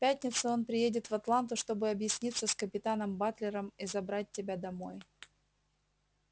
в пятницу он приедет в атланту чтобы объясниться с капитаном батлером и забрать тебя домой